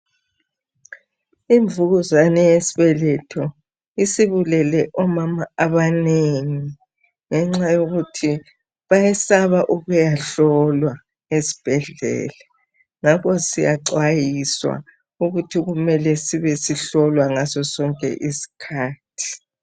Imvukuzane yesibetho isibulele omama abaneng. Ngenxa yokuthi bayesaba ukuyehlolwa esibhedlela. Ngakho siyaxwayiswa ukuthi kumele sibe sihlolwa ngaso sonke iskhathi.